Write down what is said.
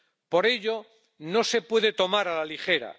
Por ello, no se puede tomar a la ligera.